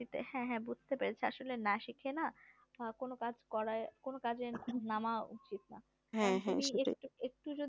হ্যাঁ হ্যাঁ বুঝতে পেরেছি আসলে না শিখে না কোনো কাজ করে কোনো কাজে নাম উচিৎনা একটু যদি